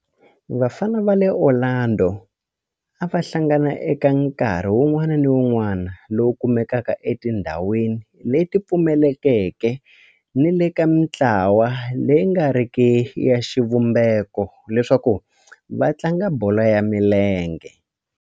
Vafana va le Orlando a va hlangana eka nkarhi wun'wana ni wun'wana lowu kumekaka etindhawini leti pfulekeke ni le ka mintlawa leyi nga riki ya xivumbeko leswaku va tlanga bolo ya milenge.